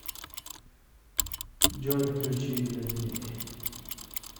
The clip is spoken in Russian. джой включи лет ми